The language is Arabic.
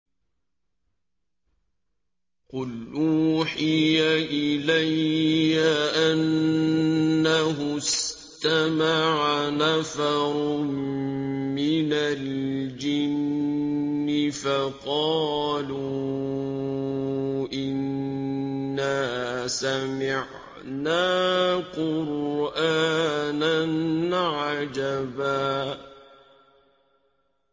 قُلْ أُوحِيَ إِلَيَّ أَنَّهُ اسْتَمَعَ نَفَرٌ مِّنَ الْجِنِّ فَقَالُوا إِنَّا سَمِعْنَا قُرْآنًا عَجَبًا